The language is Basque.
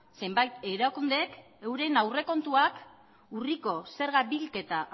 zenbait erakundeek euren aurrekontuak urriko zerga bilketa